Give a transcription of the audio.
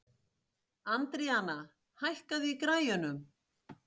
Andríana, hækkaðu í græjunum.